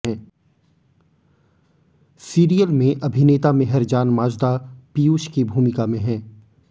serial में अभिनेता मेहरजान माजदा पीयूष की भूमिका में हैं